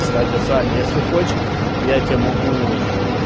кстати саня если хочешь я тебе могу